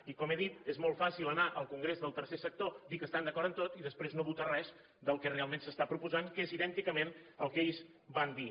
i com he dit és molt fàcil anar al congrés del tercer sector dir que estan d’acord en tot i després no votar res del que realment s’està proposant que és idènticament al que ells van dir